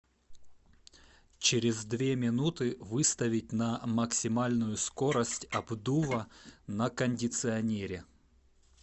через две минуты выставить на максимальную скорость обдува на кондиционере